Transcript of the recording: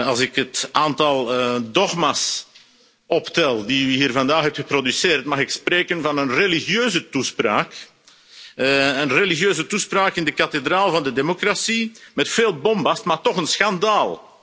Als ik het aantal dogma's optel dat u hier vandaag hebt geproduceerd, mag ik spreken van een religieuze toespraak, een religieuze toespraak in de kathedraal van de democratie, met veel bombast, maar toch een schandaal.